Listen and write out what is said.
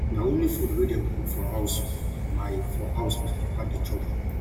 na only food wey dem cook for house my for house my papa dey chop